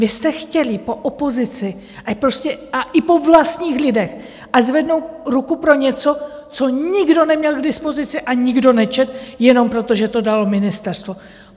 Vy jste chtěli po opozici a i po vlastních lidech, ať zvednou ruku pro něco, co nikdo neměl k dispozici a nikdo nečetl, jenom proto, že to dalo ministerstvo.